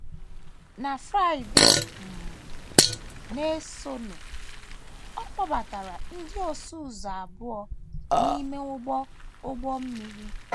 Na Friday um na - esonụ, ọ kpọbatara ndị ọsụ ụzọ abụọ n’ime ụgbọ ụgbọ mmiri.